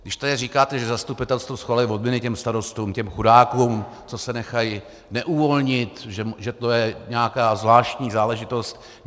Když tady říkáte, že zastupitelstvo schvaluje odměny těm starostům, těm chudákům, co se nechají neuvolnit, že to je nějaká zvláštní záležitost.